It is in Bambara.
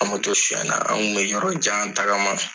An moto sunyanan, an kun bɛ yɔrɔ jan taagama